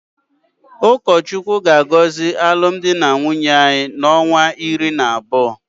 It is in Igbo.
Ukachukwu ga-agozi alum di na nwunye ha na onwa uri na Otu.